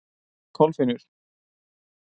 Kolfinnur